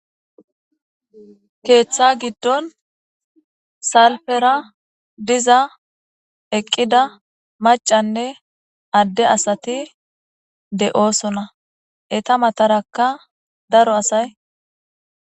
Ketha gidon diza salpera eqida macanne Ade asat de'osona. Eta mataraka daro asay ...